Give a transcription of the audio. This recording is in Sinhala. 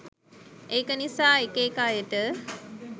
ඒක නිසා එක එක අයට